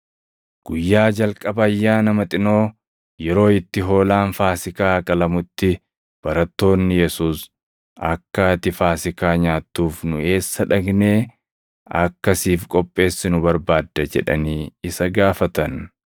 Guyyaa jalqaba Ayyaana Maxinoo, yeroo itti hoolaan Faasiikaa qalamutti barattoonni Yesuus, “Akka ati Faasiikaa nyaattuuf nu eessa dhaqnee akka siif qopheessinu barbaadda?” jedhanii isa gaafatan.